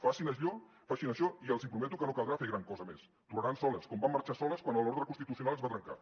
facin això i els prometo que no caldrà fer gran cosa més tornaran soles com van marxar soles quan l’ordre constitucional es va trencar